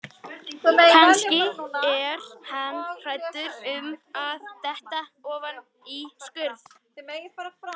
Kannski er hann hræddur um að detta ofan í skurð.